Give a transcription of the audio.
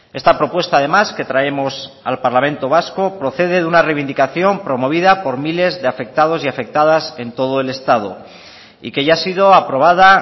esta propuesta además que traemos al parlamento vasco procede de una reivindicación promovida por miles de afectados y afectadas en todo el estado y que ya ha sido aprobada